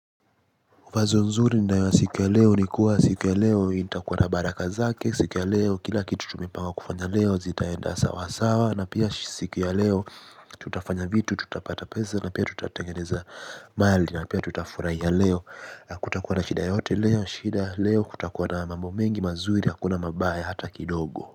Fazo nzuri ni nayo ya siku ya leo ni kuwa siku ya leo itakuwa na baraka zake, siku ya leo kila kitu tumepanga kufanya leo zitaenda sawa sawa na pia siku ya leo tutafanya vitu tutapata pesa na pia tutatengeneza mali na pia tutafurahia leo. Kutakuwa na shida yote leo? Shida leo, kutakuwa na mambo mengi mazuri hakuna mabaya hata kidogo.